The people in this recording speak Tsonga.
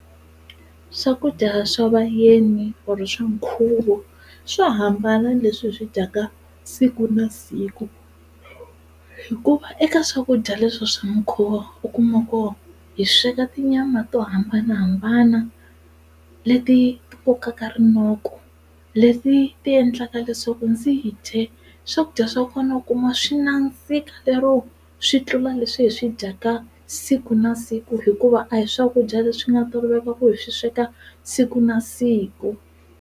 Swakudya swa vayeni or swa nkhuvo swo hambana na leswi hi swi dyaka siku na siku hikuva eka swakudya leswi swa nkhuvo u kuma ku hi sweka tinyama to hambanahambana leti ti kokaka rinoko leti ti endlaka leswaku ndzi dye swakudya swa kona u kuma swi nandzika lero swi tlula leswi hi swi dyaka siku na siku hikuva a hi swakudya leswi nga toloveleka ku hi swi sweka siku na siku.